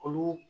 Olu